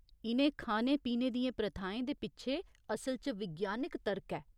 इ'नें खाने पीने दियें प्रथाएं दे पिच्छे असल च विज्ञानक तर्क ऐ।